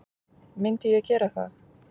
Myndi ég gera það?